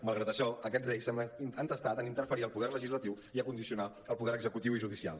malgrat això aquest rei sembla entestat en interferir al poder legislatiu i a condicionar el poder executiu i el judicial